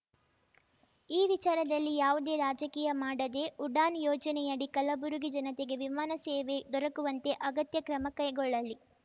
ಈ ವಿಚಾರದಲ್ಲಿ ಯಾವುದೇ ರಾಜಕೀಯ ಮಾಡದೆ ಉಡಾನ್‌ ಯೋಜನೆಯಡಿ ಕಲಬುರಗಿ ಜನತೆಗೆ ವಿಮಾನ ಸೇವೆ ದೊರಕುವಂತೆ ಅಗತ್ಯ ಕ್ರಮ ಕೈಗೊಳ್ಳಲಿ